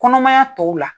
Kɔnɔmaya tɔw la